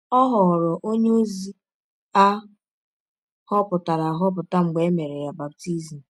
Ọ ghọrọ ọnye ozi a họpụtara ahọpụta mgbe e mere ya baptism